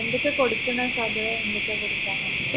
എന്തൊക്കെ കൊടുക്കുന്നെ സാധരണ എന്താ കൊടുക്ക